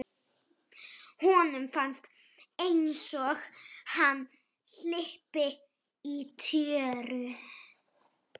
Honum fannst einsog hann hlypi í tjöru.